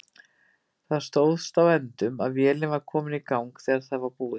Það stóðst á endum að vélin var komin í gang þegar það var búið.